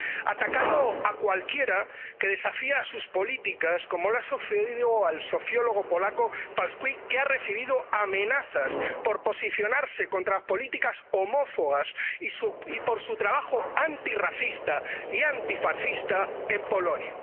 Ataca a cualquiera que desafía sus políticas, como le ha sucedido al sociólogo polaco Pankowski, que ha recibido amenazas por posicionarse contra políticas homófobas y por su trabajo antirracista y antifascista en Polonia.